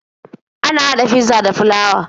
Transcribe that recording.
Ana haɗa fizza daga flawa.